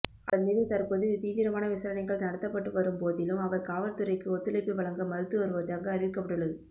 அவர் மீது தற்போது தீவிரமான விசாரணைகள் நடத்தப்பட்டுவரும் போதிலும் அவர் காவற்துறைக்கு ஒத்துழைப்பு வழங்க மறுத்துவருவதாக அறிவிக்கப்பட்டுள்ளது